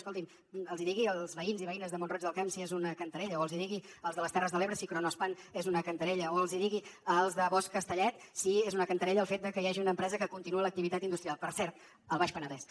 escolti’m els hi digui als veïns i veïnes de mont roig del camp si és una cantarella o els hi digui als de les terres de l’ebre si kronospan és una cantarella o els hi digui als de bosch a castellet si és una cantarella el fet de que hi hagi una empresa que continua l’activitat industrial per cert al baix penedès